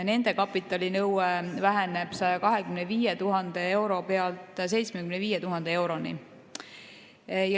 Nende kapitalinõue väheneb 125 000 euro pealt 75 000 euroni.